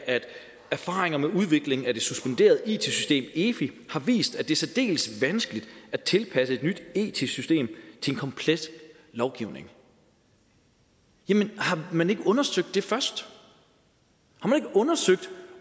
erfaringer med udviklingen af det suspenderede it system efi har vist at det er særdeles vanskeligt at tilpasse et nyt it system til en kompleks lovgivning jamen har man ikke undersøgt det først har man ikke undersøgt